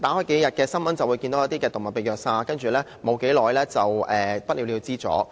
新聞上，數天便會看到一宗動物被虐殺的報道，接着便不了了之。